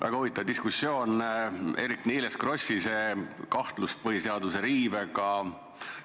Väga huvitav diskussioon oli teil Eerik-Niiles Krossiga, see kahtlus põhiseaduse riive kohta.